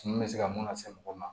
Tumu bɛ se ka mun lase mɔgɔ ma